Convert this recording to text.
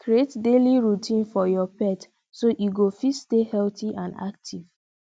create daily routine for your pet so e go fit stay healthy and active